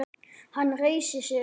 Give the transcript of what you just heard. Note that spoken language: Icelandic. Hann reisir sig upp.